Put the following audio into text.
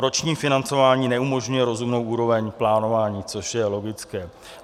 Roční financování neumožňuje rozumnou úroveň plánování, což je logické.